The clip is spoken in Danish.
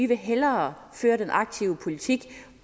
vil hellere føre den aktive politik